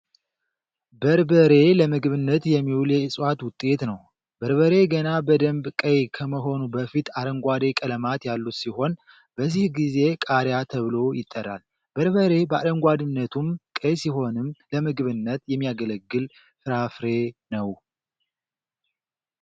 በርበሬ ለምግብነት የሚውል የእፅዋት ውጤት ነው። በርበሬ ገና በደንብ ቀይ ከመሆኑ በፊት አረንጓዴ ቀለማት ያሉት ሲሆን በዚህ ጊዜ ቃሪያ ተብሎ ይጠራል። በርበሬ በአረንጓዴነቱም ቀይ ሲሆንም ለምግብነት የሚያገለግል ፍራፍሬ ነው።